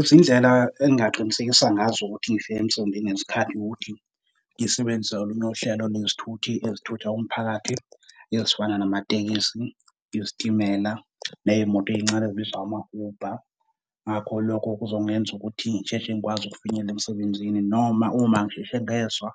Izindlela engingaqinisekisa ngazo ukuthi ngifike emsebenzini ngesikhathi ukuthi ngisebenzise olunye uhlelo lwezithuthi ezithutha umphakathi, ezifana namatekisi, izitimela, neymoto eyincane ezibizwa ngama-Uber. Ngakho lokho kuzongenza ukuthi ngisheshe ngikwazi ukufinyelela emsebenzini, noma uma ngisheshe ngezwa